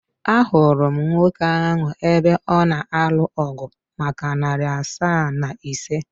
Ahụrụ m nwoke ahụ ebe ọ na anụ ọgu maka narị asaa na ise.